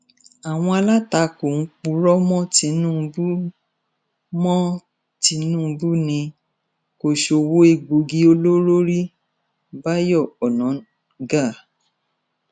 àwọn alátakò ń purọ mọ tìǹbù mọ tìǹbù ni kò sọwọ egbòogi olóró rí báyọ onáńgá